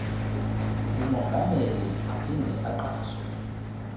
umongameli aphinde aqashe